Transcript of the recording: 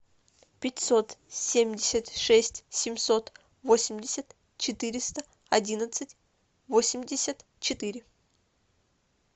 пятьсот семьдесят шесть семьсот восемьдесят четыреста одиннадцать восемьдесят четыре